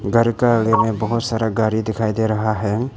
घर का आगे में बहुत सारा गाड़ी दिखाई दे रहा है।